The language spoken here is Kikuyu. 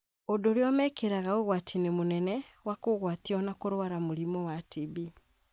ũndũ ũrĩa ũmekagĩra ũgwati-inĩ mũnene wa kũgũatio na kũrũara mũrimũ wa TB.